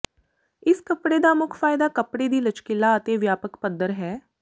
ਇਸ ਕਪੜੇ ਦਾ ਮੁੱਖ ਫਾਇਦਾ ਕੱਪੜੇ ਦੀ ਲਚਕੀਤਾ ਅਤੇ ਵਿਆਪਕ ਪੱਧਰ ਹੈ